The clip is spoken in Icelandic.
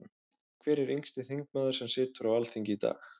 Hver er yngsti þingmaður sem situr á Alþingi í dag?